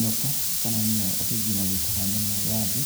Nyoka kana nĩyo andũ aingĩ magĩtaga nyamũ ya thĩ,